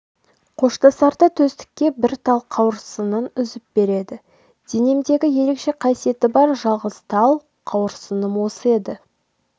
қоштасарда төстікке бір тал қауырсынын үзіп береді денемдегі ерекше қасиеті бар жалғыз тал қауырсыным осы еді